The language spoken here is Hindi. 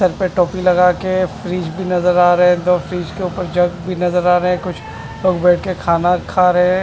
सर पर टोपी लगा क फ्रिज भी नजर आ रहे हैं दो फ्रिज के ऊपर जग भी नजर आ रहे हैं कुछ लोग बैठ के खाना खा रहे हैं।